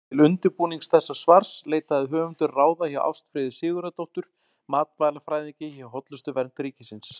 Til undirbúnings þessa svars leitaði höfundur ráða hjá Ástfríði Sigurðardóttur matvælafræðingi hjá Hollustuvernd ríkisins.